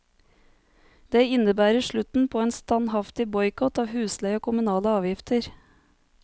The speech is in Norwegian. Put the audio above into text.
Det innebærer slutten på en standhaftig boikott av husleie og kommunale avgifter.